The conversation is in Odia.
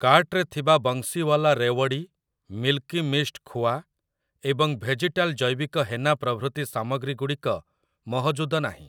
କାର୍ଟ୍‌ରେ ଥିବା ବଂଶୀୱାଲା ରେୱଡ଼ି, ମିଲ୍କି ମିଷ୍ଟ୍ ଖୁଆ ଏବଂ ଭେଜିଟାଲ ଜୈବିକ ହେନା ପ୍ରଭୃତି ସାମଗ୍ରୀ ଗୁଡ଼ିକ ମହଜୁଦ ନାହିଁ ।